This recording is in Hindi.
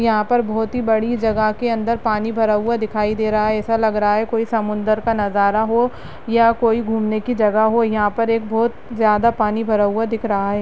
यहाँ पर बहोत ही बड़ी जगह के अंदर पानी भरा हुआ दिखाई दे रहा है ऐसा लग रहा है कोई समुंदर का नज़ारा हो या कोई घूमने की जगह हो यहाँ पर एक बहोत ज़्यादा पानी भरा हुआ दिख रहा है।